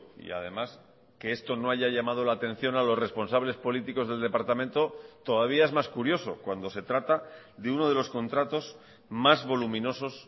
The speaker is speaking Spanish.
y además que esto no haya llamado la atención a los responsables políticos del departamento todavía es más curioso cuando se trata de uno de los contratos más voluminosos